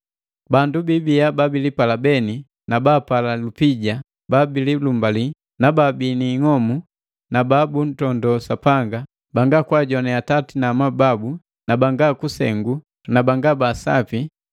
Bandu biibiya babilipala beni na baapala lupija, babililumbali, baabii ni ing'omu, na babuntondo Sapanga, banga kwaajoane atati na amabu na banga kunsengu na banga ba sapi,